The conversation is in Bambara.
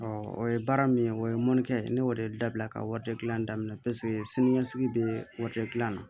o ye baara min ye o ye mɔnikɛ ye ne y'o de dabila ka wari di yan daminɛ paseke sini ɲɛsigi bɛ na